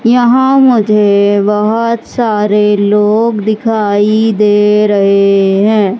यहां मुझे बहोत सारे लोग दिखाई दे रहे हैं।